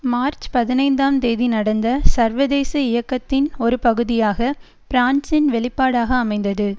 March பதினைந்தாம் தேதி நடந்த சர்வதேச இயக்கத்தின் ஒரு பகுதியாக பிரான்சின் வெளிப்பாடாக அமைந்தது